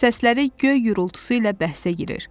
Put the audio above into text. Səsləri göy gurultusu ilə bəhsə girir.